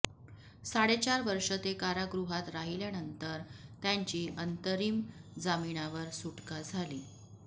साडेचार वर्ष ते कारागृहात राहिल्यानंतर त्यांची अंतरिम जामिनावर सुटका झाली